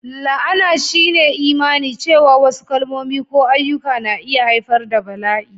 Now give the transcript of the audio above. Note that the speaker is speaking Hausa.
La'ana shine imani cewa wasu kalmomi ko ayyuka na iya haifar da bala'i,